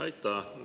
Aitäh!